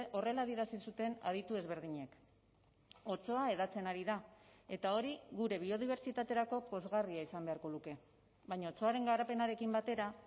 horrela adierazi zuten aditu ezberdinek otsoa hedatzen ari da eta hori gure biodibertsitaterako pozgarria izan beharko luke baina otsoaren garapenarekin batera